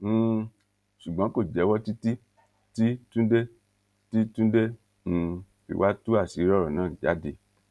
um ṣùgbọn kò jẹwọ títí tí túnde tí túnde um fi wàá tú àṣírí ọrọ náà jáde